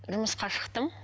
жұмысқа шықтым